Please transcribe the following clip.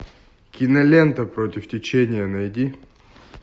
кинолента против течения найди